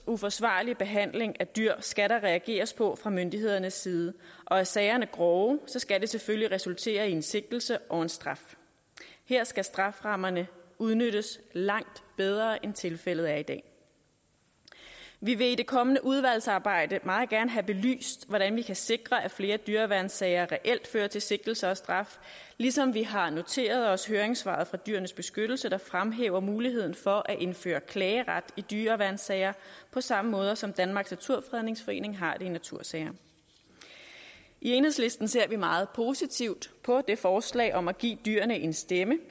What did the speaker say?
og uforsvarlig behandling af dyr skal der reageres på fra myndighedernes side og er sagerne grove skal det selvfølgelig resultere i en sigtelse og en straf her skal strafferammerne udnyttes langt bedre end tilfældet er i dag vi vil i det kommende udvalgsarbejde meget gerne have belyst hvordan vi kan sikre at flere dyreværnssager reelt fører til sigtelser og straf ligesom vi har noteret os høringssvaret fra dyrenes beskyttelse der fremhæver muligheden for at indføre klageret i dyreværnssager på samme måde som danmarks naturfredningsforening har det i natursager i enhedslisten ser vi meget positivt på det forslag om at give dyrene en stemme